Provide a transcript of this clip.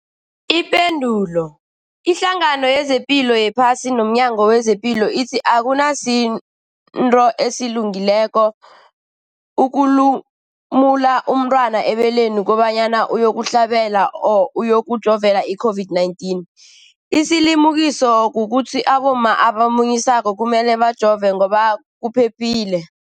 Ipendulo, iHlangano yezePilo yePhasi nomNyango wezePilo ithi akusinto elungileko ukulumula umntwana ebeleni kobanyana uyokuhlabela or uyokujovela i-COVID-19. Isilimukiso kukuthi abomma abamunyisako kumele bajove ngoba kuphephile.